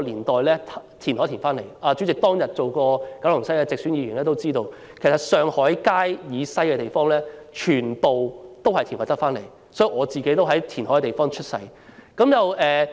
代理主席曾是九龍西選區的直選議員，諒必知道上海街以西的土地其實全是填海得來，所以我其實是在填海區出生的。